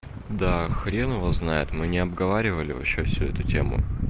да хрен его знает мы не обговаривали вообще всю эту тему